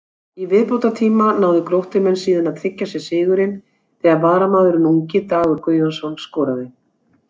Í viðbótartíma náðu Gróttumenn síðan að tryggja sér sigurinn þegar varamaðurinn ungi Dagur Guðjónsson skoraði.